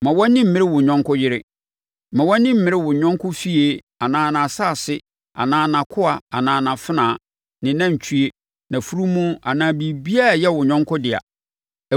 Mma wʼani mmere wo yɔnko yere. Mma wʼani mmere wo yɔnko fie anaa nʼasase anaa nʼakoa anaa nʼafenawa, ne nʼanantwie, nʼafunumu anaa biribiara a ɛyɛ wo yɔnko dea.”